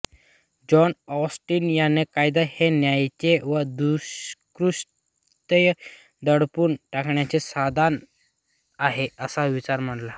John Austin यांनी कायदा हे न्यायाचे व दुष्कृत्य दडपून टाकण्याचे साधन आहे असा विचार मांडला